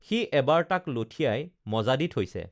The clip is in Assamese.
সি এবাৰ তাক লঠিয়াই মজা দি থৈছে